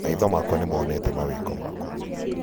maitho makwa nĩ moonete mawĩko maku